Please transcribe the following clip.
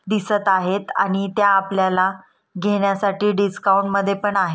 दिसत आहेत आणि ते आपल्याला घेण्यासाठी पण डिसकाऊंट मध्ये पण आहेत.